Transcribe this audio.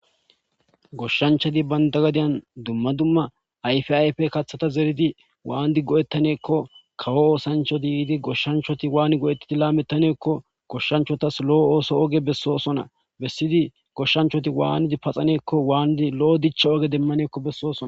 Goshanchati banta hadiyan duma duma ayfx ayfiya zerodi wanidi go'etane giko kaw osanchato yidi goshanchati wani goyidi lametane giko goshanchatas lo'o potho oge besidi goshnchati wanidi paxane giko wanidi lametane gikon besosona